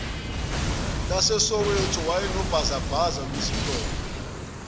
lasesoweto wayenobhazabhaza wesitolo